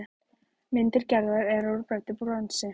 Myndir Gerðar eru úr bræddu bronsi.